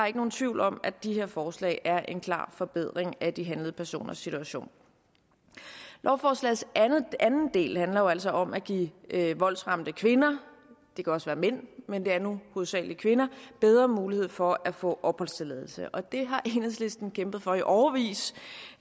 ikke nogen tvivl om at de her forslag er en klar forbedring af de handlede personers situation lovforslagets anden del handler jo altså om at give voldsramte kvinder det kan også være mænd men det er nu hovedsagelig kvinder bedre mulighed for at få opholdstilladelse og det har enhedslisten kæmpet for i årevis